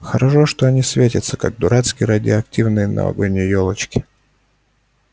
хорошо что они светятся как дурацкие радиоактивные новогодние ёлочки